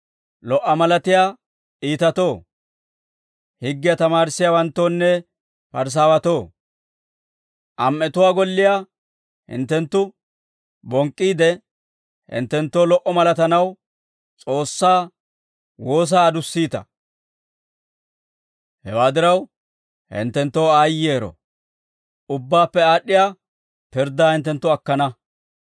«Lo"a malatiyaa iitatoo, higgiyaa tamaarissiyaawanttoonne Parisaawatoo am"etuwaa golliyaa hinttenttu bonk'k'iide, hinttenttoo lo"a malatanaw S'oossaa woosaa adussiita; hewaa diraw, hinttenttoo aayyero; ubbaappe aad'd'iyaa pirddaa hinttenttu akkana.